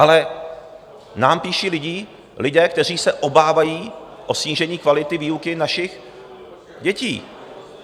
Ale nám píší lidé, kteří se obávají o snížení kvality výuky našich dětí.